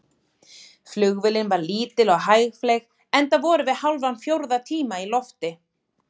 Flugvélin var lítil og hægfleyg, enda vorum við hálfan fjórða tíma í lofti.